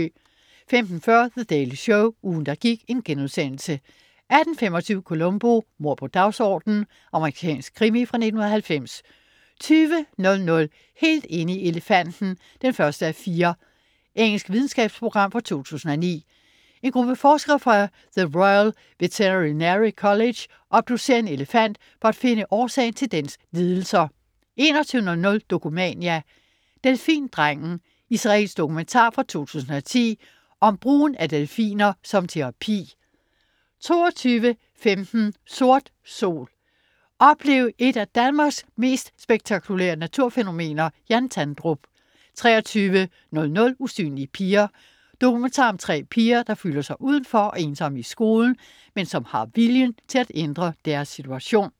15.40 The Daily Show. Ugen, der gik* 18.25 Columbo: Mord på dagsordenen. Amerikansk krimi fra 1990 20.00 Helt inde i elefanten 1:4. Engelsk videnskabsprogram fra 2009. En gruppe forskere fra The Royal Veterinary College obducerer en elefant for at finde årsagen til dens lidelser 21.00 Dokumania: Delfindrengen. Israelsk dokumentar fra 2010 om brugen af delfiner som terapi 22.15 Sort sol. Oplev et af Danmarks mest spektakulære naturfænomener. Jan Tandrup 23.00 Usynlige piger. Dokumentar om tre piger, der føler sig udenfor og ensomme i skolen, men som har viljen til at ændre deres situation